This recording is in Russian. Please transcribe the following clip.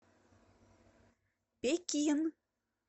пекин